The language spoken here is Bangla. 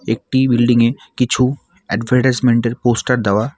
একটি বিল্ডিং -এ কিছু অ্যাডভারটাইজমেন্ট -এর পোস্টার দেওয়া।